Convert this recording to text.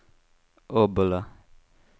Obbola